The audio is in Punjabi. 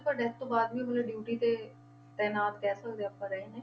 But ਇਸ ਤੋਂ ਬਾਅਦ ਵੀ ਮਤਲਬ duty ਤੇ ਤੈਨਾਤ ਕਹਿ ਸਕਦੇ ਹਾਂ ਆਪਾਂ ਰਹੇ ਨੇ।